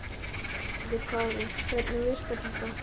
Höskuldur Kári: Hvernig virkar þetta?